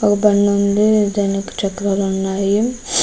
ఒక బండి ఉంది దానికి చక్రాలు ఉన్నాయి.